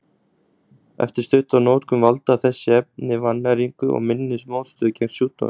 Eftir stutta notkun valda þessi efni vannæringu og minni mótstöðu gegn sjúkdómum.